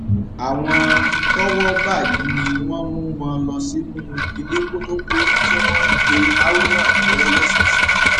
àwọn tọwọ bá yìí ni wọn mú wọn lọ sínú ilé kótópó tí wọn dé haruna lọwọ lẹsẹ sí